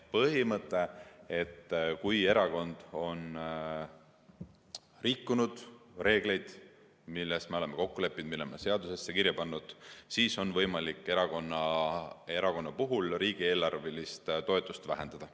Põhimõte, et kui erakond on rikkunud reegleid, milles me oleme kokku leppinud, mille me oleme seadusesse kirja pannud, siis on võimalik erakonna riigieelarvelist toetust vähendada.